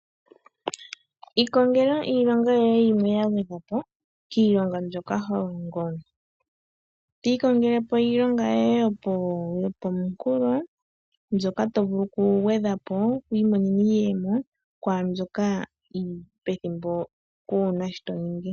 ikongela iilonga yoye yimwe ya gwedhwa po kiilonga mbyoka ho longo. To ikongele po iilonga yoye yopomunkulo mbyoka to vulu okugwedha po wi imonene iiyemo kwaa mbyoka pethimbo kuu na shi to ningi.